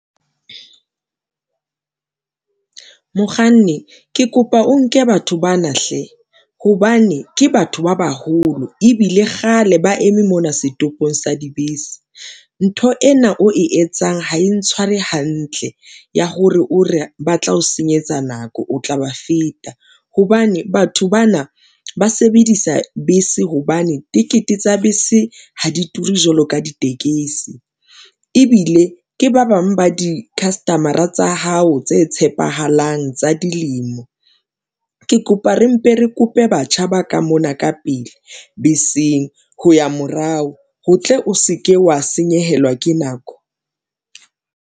Mokganni ke kopa o nke batho bana hle hobane ke batho ba baholo ebile kgale ba eme mona setopong sa dibese. Ntho ena o e etsang ha e ntshware hantle ya hore o re ba tla o senyetsa nako, o tla ba feta hobane batho bana ba sebedisa bese hobane tikete tsa bese ha di ture jwalo ka ditekesi ebile ke ba bang ba di-customer-a tsa hao tse tshepahalang tsa dilemo. Ke kopa re mpe re kope batjha ba ka mona ka pele beseng ho ya morao, ho tle o se ke wa senyehelwa ke nako.